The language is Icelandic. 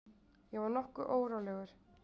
Ég var nokkuð rólegur.